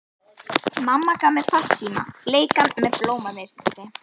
Mamma gaf mér farsíma, bleikan með blómamynstri.